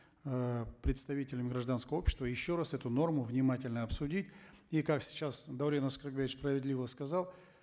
э представителями гражданского общества еще раз эту норму внимательно обсудить и как сейчас даурен аскарбекович справедливо сказал